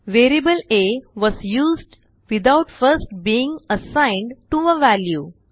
variable a was used without first being assigned to a value